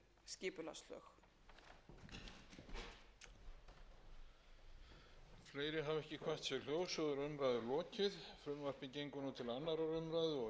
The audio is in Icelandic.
leið og alþingi væri búið að samþykkja þau og yrði þá raunar færð inn í hin nýju skipulagslög